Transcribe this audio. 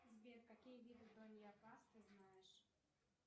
сбер какие виды ты знаешь